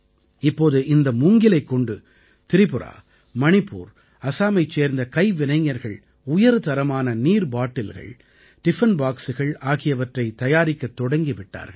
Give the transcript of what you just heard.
இப்போது இந்த மூங்கிலைக் கொண்டு திரிபுரா மணிப்பூர் அஸாமைச் சேர்ந்த கைவினைஞர்கள் உயர்தரமான நீர்பாட்டில்கள் டிஃபன் பாக்ஸ்கள் ஆகியவற்றைத் தயாரிக்கத் தொடங்கி விட்டார்கள்